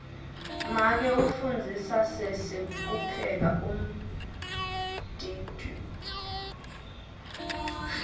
make ufundzisa sesi kupheka umdiduo